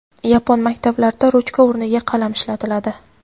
Yapon maktablarida ruchka o‘rniga qalam ishlatiladi.